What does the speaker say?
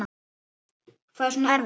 Hvað er svona erfitt?